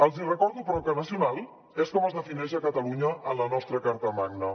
els hi recordo però que nacional és com es defineix a catalunya en la nostra carta magna